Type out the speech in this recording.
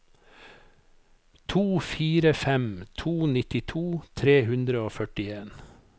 to fire fem to nittito tre hundre og førtien